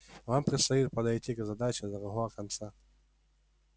вам предстоит подойти к задаче с другого конца